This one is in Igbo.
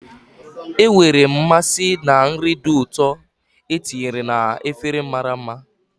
Enwere m mmasị na nri dị ụtọ e tinyere na efere mara mma.